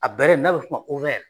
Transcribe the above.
A bɛrɛ n'a bɛ fɔ o ma